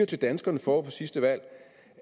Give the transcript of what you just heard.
til danskerne forud for sidste valg